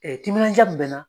Ee timinanja mun be n na.